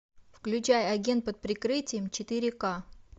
включай агент под прикрытием четыре ка